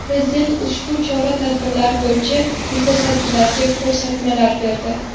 Prezident ushbu chora-tadbirlar bo‘yicha mutasaddilarga ko‘rsatmalar berdi.